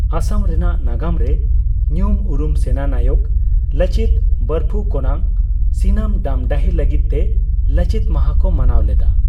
ᱟᱥᱟᱢ ᱨᱮᱱᱟᱜ ᱱᱟᱜᱟᱢ ᱨᱮ ᱧᱩᱢ ᱩᱨᱩᱢ ᱥᱮᱱᱟ ᱱᱟᱭᱚᱠ ᱞᱟᱪᱤᱛ ᱵᱚᱨᱯᱷᱩᱠᱚᱱᱟᱜ ᱥᱤᱱᱟᱹᱢ ᱰᱟᱢᱰᱟᱦᱤ ᱞᱟᱹᱜᱤᱫ ᱛᱮ 'ᱞᱟᱪᱤᱛ ᱢᱟᱦᱟ' ᱠᱚ ᱢᱟᱱᱟᱣ ᱞᱮᱫᱟ ᱾